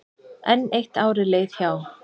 Enn eitt árið leið hjá.